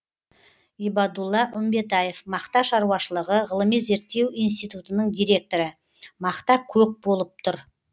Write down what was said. ибадулла үмбетаев мақта шаруашылығы ғылыми зерттеу институтының директоры мақта көк болып тұр